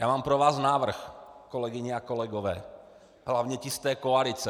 Já mám pro vás návrh, kolegyně a kolegové, hlavně ti z té koalice.